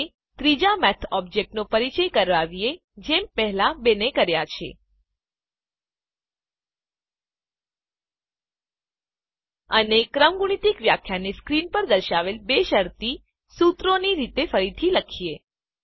હવે ત્રીજા math object નો પરિચય કરાવીએ જેમ પહેલા બેને કર્યા છે અને ક્રમગુણિત વ્યાખ્યાને સ્ક્રીન પર દર્શાવેલ બે શરતી સૂત્રોની રીતે ફરીથી લખીએ